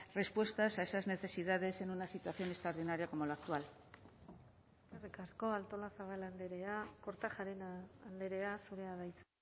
respuestas a esas necesidades en una situación extraordinaria como la actual eskerrik asko artolazabal andrea kortajarena andrea zurea da hitza